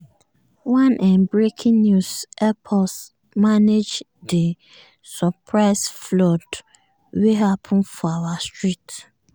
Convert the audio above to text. one um breaking news help us manage di um surprise flood wey happen for our street.